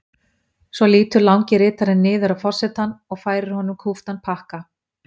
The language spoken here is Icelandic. Síðan lýtur langi ritarinn niður að forsetanum og færir honum kúptan pakka.